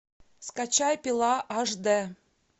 скачай пила аш д